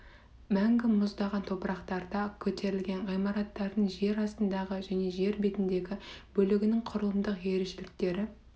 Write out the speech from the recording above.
мәңгі мұздаған топырақтарда көтерілген ғимараттардың жер астындағы және жер бетіндегі бөлігінің құрылымдық ерекшеліктері